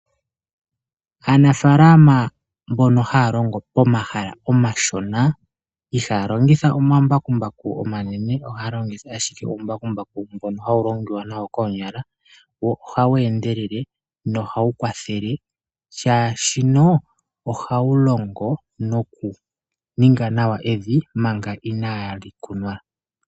Aanafaalama mbono haalongo omahala omashona ihaalongitha omambakumbaku omanene ohaalongitha omambakumbaku omashona. Hawu endelele.